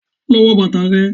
Lọ wo bàtà rẹ.